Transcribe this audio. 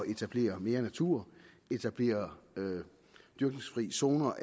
etablere mere natur etablere dyrkningsfri zoner